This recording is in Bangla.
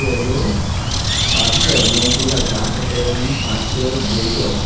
এবং পাশে অনেকগুলা গাছ আছে এবং পাশে গেইটও আছে।